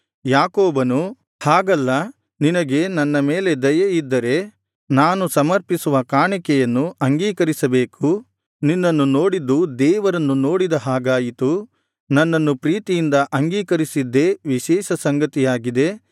ಯಾಕೋಬನು ಹಾಗಲ್ಲ ನಿನಗೆ ನನ್ನ ಮೇಲೆ ದಯೆಯಿದ್ದರೆ ನಾನು ಸಮರ್ಪಿಸುವ ಕಾಣಿಕೆಯನ್ನು ಅಂಗೀಕರಿಸಬೇಕು ನಿನ್ನನ್ನು ನೋಡಿದ್ದು ದೇವರನ್ನು ನೋಡಿದ ಹಾಗಾಯಿತು ನನ್ನನ್ನು ಪ್ರೀತಿಯಿಂದ ಅಂಗೀಕರಿಸಿದ್ದೇ ವಿಶೇಷ ಸಂಗತಿಯಾಗಿದೆ